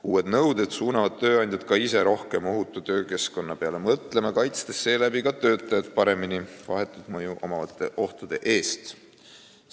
Uued nõuded suunavad tööandjat ka ise rohkem ohutu töökeskkonna peale mõtlema, kaitstes seeläbi töötajat vahetu mõjuga ohtude eest paremini.